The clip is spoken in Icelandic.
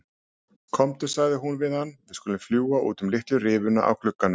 Komdu sagði hún við hann, við skulum fljúga út um litlu rifuna á glugganum